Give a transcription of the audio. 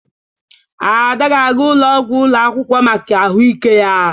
Ada ga-aga ụlọ ọgwụ ụlọ akwụkwọ maka ahụike ya.